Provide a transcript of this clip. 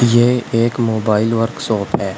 ये एक mobile workshop है।